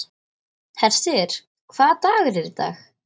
Hersir, hvaða dagur er í dag?